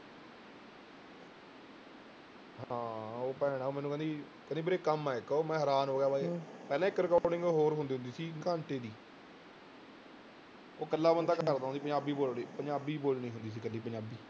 ਹਾਂ ਉਹ ਭੈਣ ਆਂ ਮੈਨੂੰ ਕਹਿੰਦੀ ਕਹਿੰਦੀ ਵੀਰੇ ਕੰਮ ਹੈ ਇੱਕ ਮੈਂ ਹੈਰਾਨ ਹੋ ਗਿਆ ਬਾਈ, ਪਹਿਲਾਂ ਇੱਕ recording ਹੋਰ ਹੁੰਦੀ ਹੁੰਦੀ ਸੀ ਘੰਟੇ ਦੀ ਉਹ ਇਕੱਲਾ ਬੰਦਾ ਕਰਦਾ ਹੁੰਦਾ ਸੀ ਪੰਜਾਬੀ ਬੋਲਣੀ ਪੰਜਾਬੀ ਬੋਲਣੀ ਹੁੰਦੀ ਸੀ ਇਕੱਲੀ ਪੰਜਾਬੀ।